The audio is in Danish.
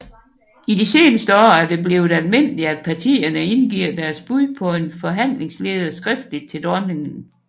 I de seneste år er det blevet almindeligt at partierne indgiver deres bud på en forhandlingsleder skriftligt til dronningen